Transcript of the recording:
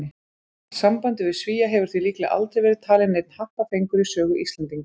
Sambandið við Svía hefur því líklega aldrei verið talinn neinn happafengur í sögu Íslendinga.